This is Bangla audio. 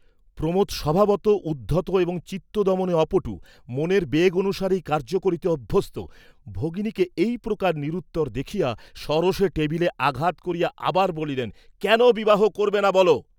প্রমোদ স্বভাবতঃ উদ্ধত এবং চিত্তদমনে অপটু, মনের বেগ অনুসারেই কার্য করিতে অভ্যস্ত, ভগিনীকে এই প্রকার নিরুত্তর দেখিয়া সরোষে টেবিলে আঘাত করিয়া আবার বলিলেন, "কেন বিবাহ করবে না বল।"